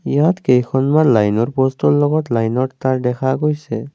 ইয়াত কেইখনমান লাইনৰ পষ্টৰ লগত লাইনৰ তাৰ দেখা গৈছে।